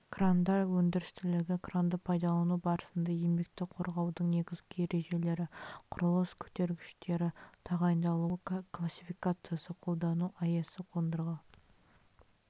крандар өндірістілігі кранды пайдалану барысында еңбекті қорғаудың негізгі ережелері құрылыс көтергіштері тағайындалуы классификациясы қолдану аясы қондырғы